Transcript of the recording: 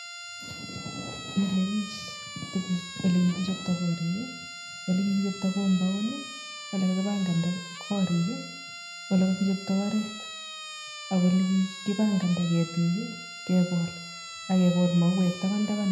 Milebich tuguj olekikichopta karik olekikichopta compound olekakibanganda karikolekakichopta oret ak olekikibanganda ketik i agekol mauwek tabantaban.